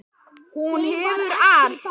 Hún hefur allt.